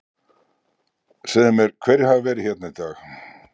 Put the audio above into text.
Segðu mér, hverjir hafa verið hérna í dag?